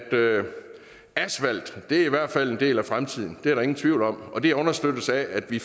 asfalt i hvert fald er en del af fremtiden det er der ingen tvivl om og det understøttes af at vi